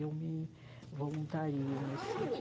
Eu me voluntario nesse